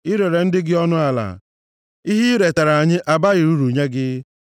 I rere ndị gị ọnụ ala, ihe i retara ha abaghị uru nye gị.